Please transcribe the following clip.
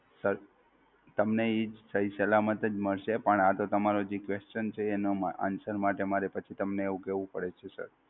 Sir તમને ઈ સહી સલામત જ મળશે, પણ આ તો તમારો જે Question છે એનાં Answer માટે મારે પછી તમને એવું કેવું પડે છે sir.